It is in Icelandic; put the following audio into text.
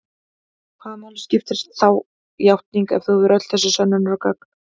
Hvaða máli skiptir þá játning ef þú hefur öll þessi sönnunargögn?